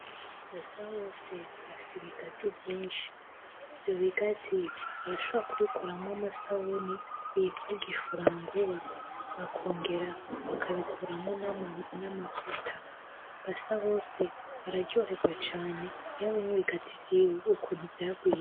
Basabose afise ibigazi vyinshi. Ivyobigazi arashobora kubikuramwo amasabuni yitwa Gifuranguwa. Bakongera bakabikuramwo n'amavuta. Basabose araryohegwa caane iyo abonye ibigazi vyiwe ukuntu vyagwiriye.